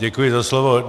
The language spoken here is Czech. Děkuji za slovo.